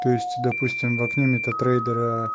то есть допустим в окне метатрейдера